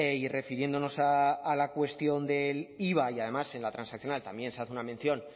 y refiriéndonos a la cuestión del iva y además en la transaccional también se hace una mención